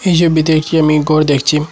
এই ছবিতে একটি আমি গর দেখছিম।